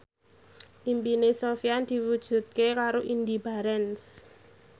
impine Sofyan diwujudke karo Indy Barens